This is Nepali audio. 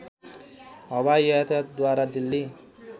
हवाई यातायातद्वारा दिल्ली